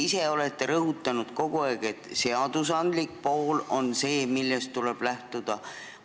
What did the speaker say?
Te ise olete kogu aeg rõhutanud, et seaduste pool on see, millest tuleb lähtuda.